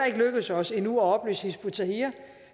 ikke lykkedes os endnu at opløse hizb ut tahrir